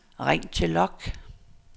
ring til log